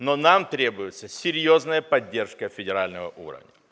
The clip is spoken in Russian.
но нам требуется серьёзная поддержка федерального уровня